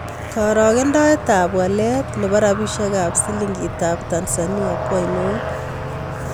Karogendetap walet ne po rabisyekap silingiitap Tanzania ko ainon